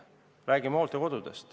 Võtame näiteks hooldekodud.